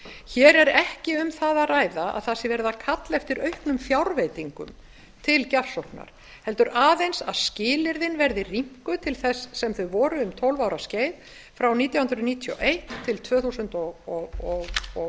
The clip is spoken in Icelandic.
hér er ekki um það að ræða að það sé verið að kalla eftir auknum fjárveitingum til gjafsóknar heldur aðeins að skilyrðin verði rýmkuð til þess sem þau voru um tólf ára skeið frá nítján hundruð níutíu og eitt til tvö þúsund og